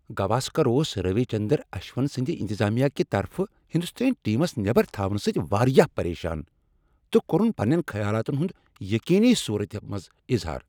گواسکر اوس روی چندرن اشون سٕندِ انتظامیہ کہِ طرفہٕ ہندوستٲنۍ ٹیمس نٮ۪بر تھاونہٕ سٕتۍ واریاہ پریشان تہٕ کوٚرُن پنین خیالاتن ہٗند یقینی صورتہِ منز اظہار ۔